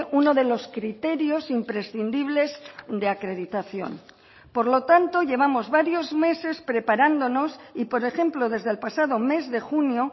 uno de los criterios imprescindibles de acreditación por lo tanto llevamos varios meses preparándonos y por ejemplo desde el pasado mes de junio